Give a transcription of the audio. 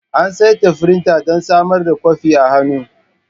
An saita firinta don samar da kwafi a hannu.